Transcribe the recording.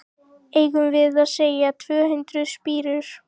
Eigum við að segja tvö hundruð spírur?